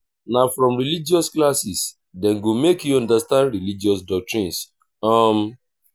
na from religious classes dem go make you understand religious doctrines. um